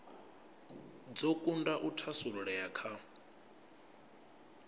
dzo kunda u thasululea kha